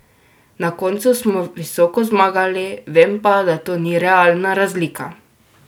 Na koncu smo visoko zmagali, vem pa, da to ni realna razlika.